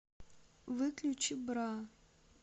выключи бра